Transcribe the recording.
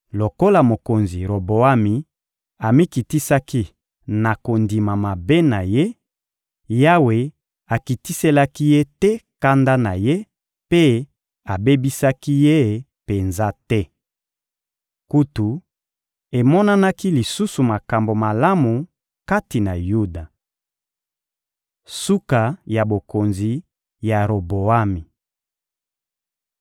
Lokola mokonzi Roboami amikitisaki na kondima mabe na ye, Yawe akitiselaki ye te kanda na Ye mpe abebisaki ye penza te. Kutu, emonanaki lisusu makambo malamu kati na Yuda. Suka ya bokonzi ya Roboami (1Ba 14.21-24, 29-31)